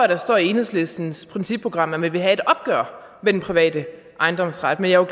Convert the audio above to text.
der stod i enhedslistens partiprogram at man ville have et opgør med den private ejendomsret men jeg